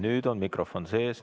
Nüüd on mikrofon sees.